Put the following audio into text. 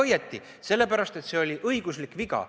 Te olete väga õigesti teinud, sest see oli õiguslik viga.